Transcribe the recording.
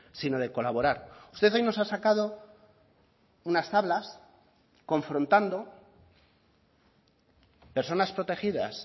sino de colaborar usted hoy nos ha sacado unas tablas confrontando personas protegidas